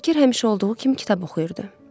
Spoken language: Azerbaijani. Şakir həmişə olduğu kimi kitab oxuyurdu.